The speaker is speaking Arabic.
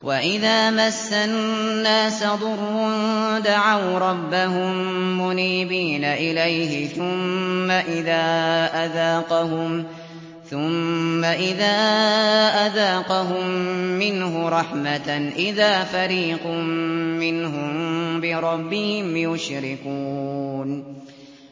وَإِذَا مَسَّ النَّاسَ ضُرٌّ دَعَوْا رَبَّهُم مُّنِيبِينَ إِلَيْهِ ثُمَّ إِذَا أَذَاقَهُم مِّنْهُ رَحْمَةً إِذَا فَرِيقٌ مِّنْهُم بِرَبِّهِمْ يُشْرِكُونَ